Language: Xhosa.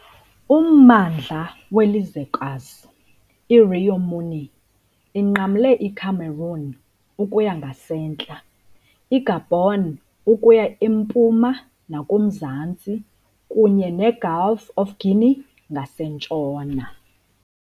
Ummandla welizwekazi, i- Rio Muni, inqamle iCameroon ukuya ngasentla, iGabon ukuya empuma nakumzantsi kunye neGulf of Guinea ngasentshona.